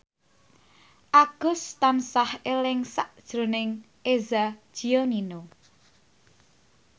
Agus tansah eling sakjroning Eza Gionino